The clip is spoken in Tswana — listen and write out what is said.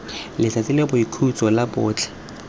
letsatsi la boikhutso la botlhe